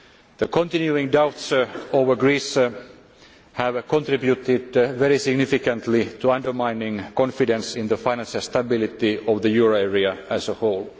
The continuing doubts over Greece have contributed very significantly to undermining confidence in the financial stability of the euro area as a whole.